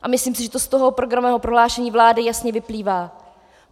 A myslím si, že to z toho programového prohlášení vlády jasně vyplývá.